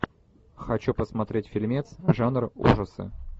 хочу посмотреть фильмец жанр ужасы